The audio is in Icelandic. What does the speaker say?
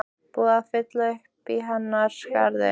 Er búið að fylla uppí hennar skarð?